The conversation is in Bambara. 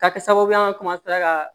Ka kɛ sababu ye an ka